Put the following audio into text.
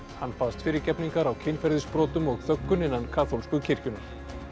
hann baðst fyrirgefningar á kynferðisbrotum og þöggun innan kaþólsku kirkjunnar